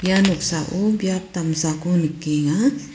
ia noksao biap damsako nikenga.